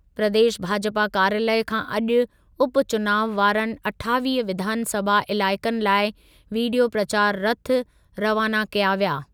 प्रदेश भाजपा कार्यालयु खां अॼु उपचुनाव वारनि अठावीह विधानसभा इलाइक़नि लाइ वीडियो प्रचार रथ रवाना कया विया।